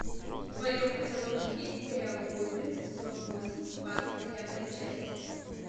в твоем каталоге есть сериал гоблин сезон восемь двадцать девятая часть